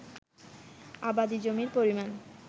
আবাদি জমির পরিমাণ